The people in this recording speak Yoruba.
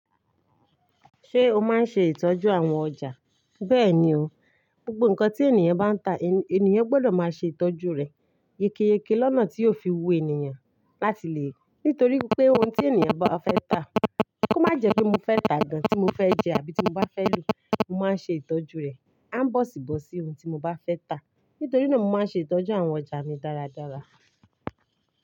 Ṣé o máa ń ṣe ìtọ́jú àwọn ọjà? Bẹ́ẹ̀ni o, gbogbo nǹkan tí ènìyàn bá ń tà ènìyàn gbọ́dọ̀ máa ṣe ìtọ́jú rẹ̀ yékéyéké lọ́nà tí yóò fi wu ènìyàn láti lè-- nítorí pé ohun tí ènìyàn bá fẹ́ tà kó má jẹ bí mo fẹ́ tàà gán tí mo fẹ́ jẹ àbí tí mo bá fẹ́ lò, mo máa ń ṣe ìtọ́jú rẹ̀. À ń bọ̀sìbọ̀sì ohun tí mo bá fẹ́ tà. Nítorí náà mo máa ń ṣe ìtọ́jú àwọn ọjà mi dáradára.